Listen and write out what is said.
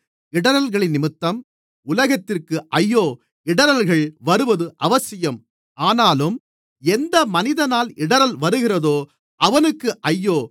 இடறல்களினிமித்தம் உலகத்திற்கு ஐயோ இடறல்கள் வருவது அவசியம் ஆனாலும் எந்த மனிதனால் இடறல் வருகிறதோ அவனுக்கு ஐயோ